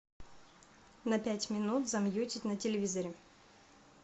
на пять минут замьютить на телевизоре